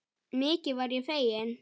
Mikið varð ég feginn.